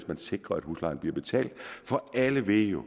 man sikrer at huslejen bliver betalt for alle ved jo